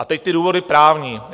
A teď ty důvody právní.